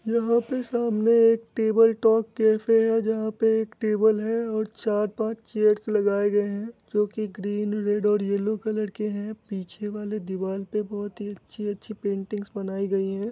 यहा पे सामने एक टेबल टॉक कैफै है जहा पर एक टेबल है और चार पाच चेयर्स लगाए गए हैं जो की ग्रीन रेड और येल्लो कलर की हैं पीछे वाली दीवार पे बहुत ही अच्छी अच्छी पेंटिंग बनाई गई हैं।